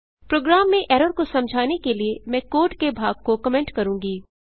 programme में error को समझाने के लिए मैं कोड के भाग को कमेंट करूँगी